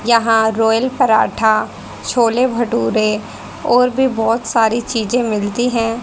यहां रॉयल पराठा छोले भटूरे और भी बहोत सारी चीजें मिलती है।